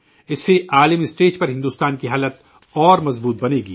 اس سے عالمی سطح پر بھارت کی پوزیشن مزید مضبوط بنے گی